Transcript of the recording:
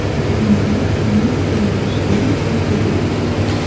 Shavkat Mirziyoyev Salome Zurabishviliga tabrik yo‘lladi.